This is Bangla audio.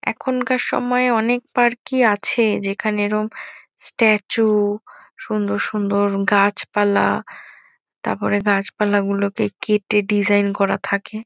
এখানকার সময়ে অনেক পার্ক -ই আছে। যেখানে এরম স্ট্যাচু সুন্দর সুন্দর গাছপালা তার পরে গাছপালা গুলোকে কেটে ডিজাইন করা থাকে।